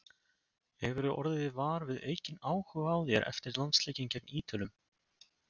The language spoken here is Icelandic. Hefurðu orðið var við aukinn áhuga á þér eftir landsleikinn gegn Ítölum?